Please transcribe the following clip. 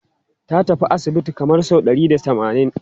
Ta tafi asibiti kamar sau ɗari da tamanin.